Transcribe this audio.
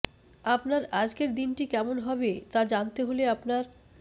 আপনার আজকের দিনটি কেমন হবে তা জানতে হলে আপনার